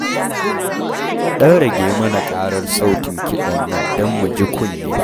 Ɗan rage mana ƙarar sautin kiɗan nan don mu ji kunne